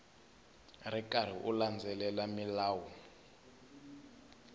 ri karhi u landzelela milawu